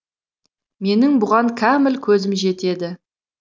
менің бұған кәміл көзім жетеді